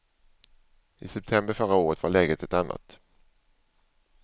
I september förra året var läget ett annat.